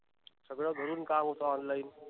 सगळ घरून काम होत online